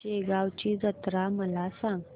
शेगांवची जत्रा मला सांग